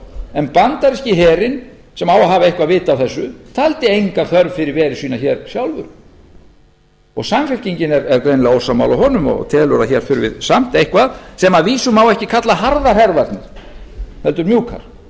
en bandaríski herinn sem á að hafa eitthvað vit á þessu taldi enga þörf fyrir veru sína sjálfir og samfylkingin er greinilega ósammála honum og telur að hér þurfi samt eitthvað sem að vísu má ekki kalla harðan herðar heldur mjúkar það